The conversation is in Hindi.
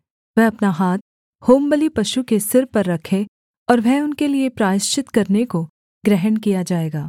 वह अपना हाथ होमबलि पशु के सिर पर रखे और वह उनके लिये प्रायश्चित करने को ग्रहण किया जाएगा